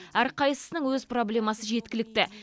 әрқайсысының өз проблемасы жеткілікті